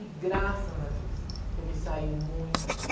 E graças a Deus, eu me saí muito bem.